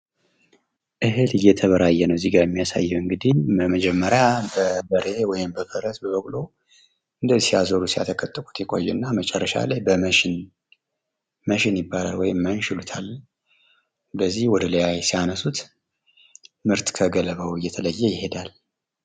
እህል እየተበራየ ነው እዚጋ የሚያሳየው እንግዲህ፤ በመጀመሪያ በበሬ፣ በፈረስ ወይም በበቆ ሲያዞሩት ፣ ሲያተከቱኩት ይቆዩና መጨረሻ ላይ በመንሽን ወይም መንሽ ይሉታል በዚህ ወደ ላይ ሲያነሱት ምርት ከገለባው እየተለየ ይሄዳል።